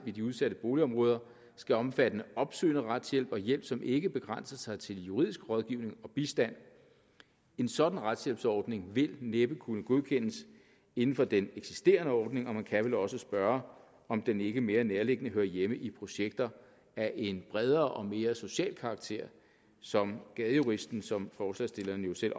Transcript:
i de udsatte boligområder skal omfatte opsøgende retshjælp og hjælp som ikke begrænser sig til juridisk rådgivning og bistand en sådan retshjælpsordning vil næppe kunne godkendes inden for den eksisterende ordning og man kan vel også spørge om den ikke mere nærliggende hører hjemme i projekter af en bredere og mere social karakter som gadejuristen som forslagsstillerne jo selv